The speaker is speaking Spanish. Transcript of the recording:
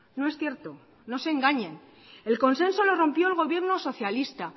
no es cierto no se engañen el consenso lo rompió el gobierno socialista